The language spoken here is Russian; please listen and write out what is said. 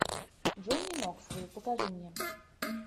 джонни ноксвилл покажи мне